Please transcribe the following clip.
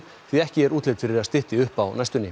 því ekki er útlit fyrir að stytti upp á næstunni